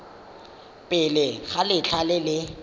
pele ga letlha le le